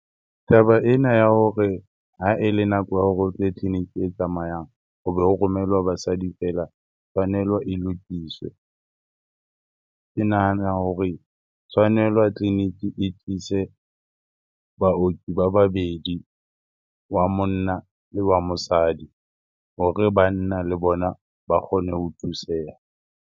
Taba ena ya hore ha ele nako ya hore o tle tleliniki e tsamayang hobe ho romelwa basadi fela, tshwanelo e lokiswe. Ke nahana hore tshwanelwa tleliniki e tlise baoki ba babedi, wa monna le wa mosadi hore banna le bona ba kgone ho thuseha.